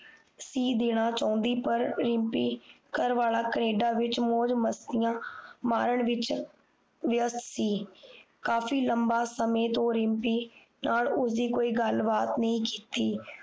ਸੀ ਦੇਣਾ ਚਾਹੁੰਦੀ ਪਰ ਰਿਮਪੀ ਘਰਵਾਲਾ ਕੈਨੇਡਾ ਵਿੱਚ ਮੌਜ ਮਸਤੀਆਂ ਮਾਰਨ ਵਿੱਚ ਵਿਅਸਥ ਸੀ ਕਾਫੀ ਲੰਬਾ ਸਮੇਂ ਤੋਂ ਰਿਮਪੀ ਨਾਲ ਉਸਦੀ ਕੋਈ ਗਲਬਾਤ ਨਹੀਂ ਕੀਤੀ